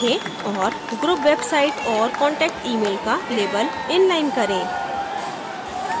और group website और contact email का label inline करें